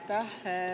Aitäh!